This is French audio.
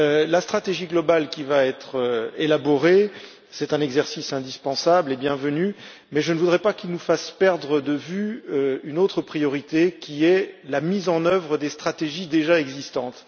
la stratégie globale qui va être élaborée, c'est un exercice indispensable et bienvenu, mais je ne voudrais pas qu'il nous fasse perdre de vue une autre priorité, qui est la mise en œuvre des stratégies déjà existantes.